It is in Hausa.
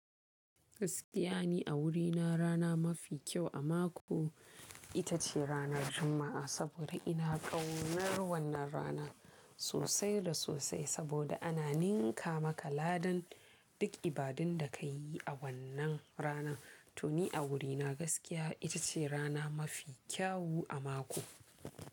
Gaskiya ni a wurina rana mafi kyau a mako ita ce ranar Juma'a saboda ina ƙaunar wannan rana sosai da sosai saboda ana ninka maka ladan duk ibadun da ka yi a wannan rana. To ni a wurina gaskiya ita ce rana mafi kyawu a mako.